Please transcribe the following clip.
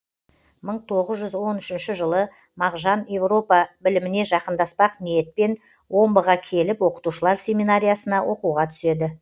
мың тоғыз жүз он үшінші жылы мағжан европа біліміне жақындаспақ ниетпен омбыға келіп оқытушылар семинариясына оқуға түседі